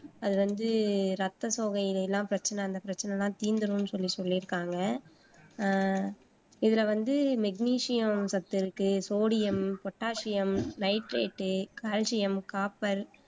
அது வந்து ரத்த சோகையிலே எல்லாம் பிரச்சினை அந்தப் பிரச்சினை எல்லாம் தீந்துரும்ன்னு சொல்லி சொல்லியிருக்காங்க அஹ் இதுல வந்து மெக்னீசியம் சத்து இருக்கு sodium, potassium, nitrate, calcium, copper